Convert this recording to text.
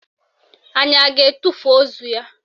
Anyị a ga-etufu ozu ya?